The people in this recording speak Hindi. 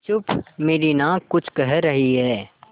चुप मेरी नाक कुछ कह रही है